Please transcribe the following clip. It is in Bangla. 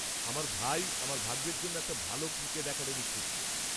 আমার ভাই আমার ভাগ্নের জন্য একটা ভাল ক্রিকেট অ্যাকাডেমি খুঁজছে।